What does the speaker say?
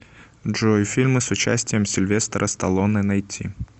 джой фильмы с участием сильвестра сталлоне найти